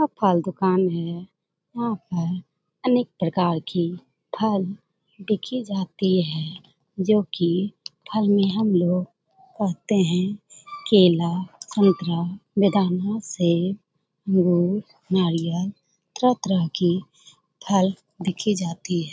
यह फल दुकान है। यहां पर अनेक प्रकार की फल बिकी जाती है जो की फल में हम लोग कहते हैं केला संतरा सेब अंगूर नारियल तरह-तरह की फल देखी जाती है।